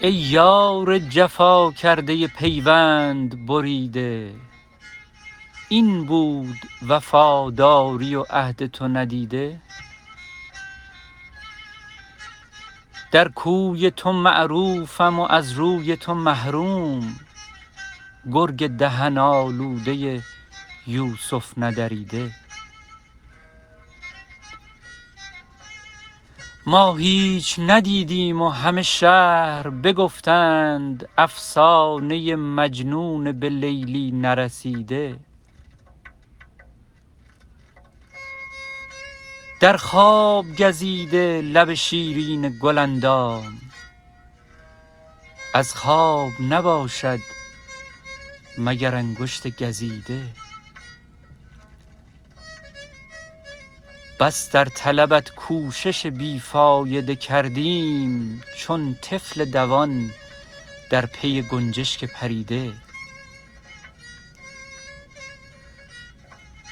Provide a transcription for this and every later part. ای یار جفا کرده پیوند بریده این بود وفاداری و عهد تو ندیده در کوی تو معروفم و از روی تو محروم گرگ دهن آلوده یوسف ندریده ما هیچ ندیدیم و همه شهر بگفتند افسانه مجنون به لیلی نرسیده در خواب گزیده لب شیرین گل اندام از خواب نباشد مگر انگشت گزیده بس در طلبت کوشش بی فایده کردیم چون طفل دوان در پی گنجشک پریده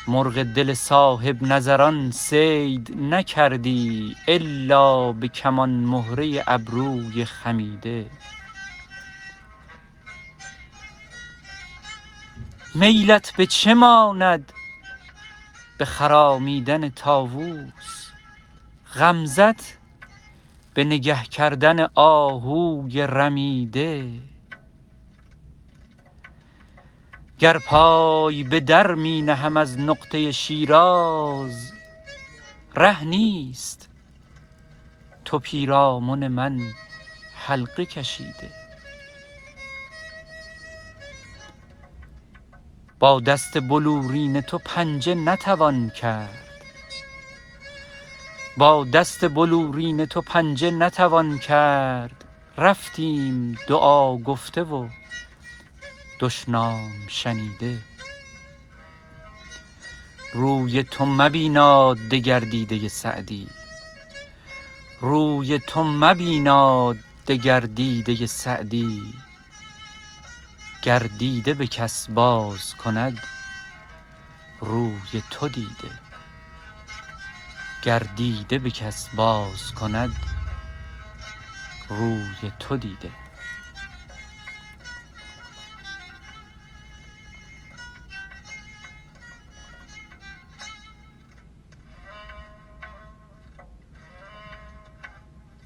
مرغ دل صاحب نظران صید نکردی الا به کمان مهره ابروی خمیده میلت به چه ماند به خرامیدن طاووس غمزه ت به نگه کردن آهوی رمیده گر پای به در می نهم از نقطه شیراز ره نیست تو پیرامن من حلقه کشیده با دست بلورین تو پنجه نتوان کرد رفتیم دعا گفته و دشنام شنیده روی تو مبیناد دگر دیده سعدی گر دیده به کس باز کند روی تو دیده